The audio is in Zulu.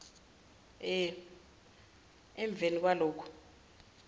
e emveni kwalokhu